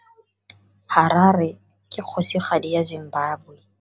Harare ke kgosigadi ya Zimbabwe.